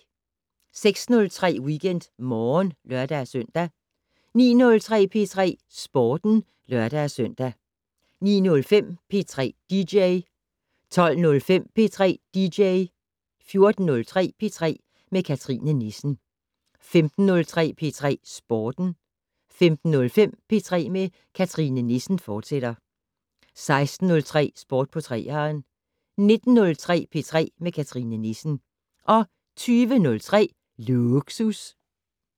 06:03: WeekendMorgen (lør-søn) 09:03: P3 Sporten (lør-søn) 09:05: P3 dj 12:05: P3 dj 14:03: P3 med Cathrine Nissen 15:03: P3 Sporten 15:05: P3 med Cathrine Nissen, fortsat 16:03: Sport på 3'eren 19:03: P3 med Cathrine Nissen 20:03: Lågsus